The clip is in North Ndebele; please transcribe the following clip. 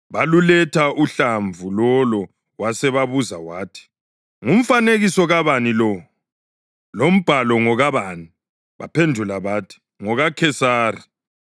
Baluletha uhlamvu lolo, wasebabuza wathi, “Ngumfanekiso kabani lo? Lombhalo ngokabani?” Baphendula bathi, “NgokaKhesari.”